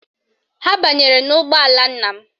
Ha banyere n'ụgbọala nna m